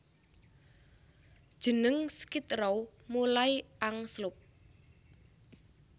Jeneng Skid Row mulai angslup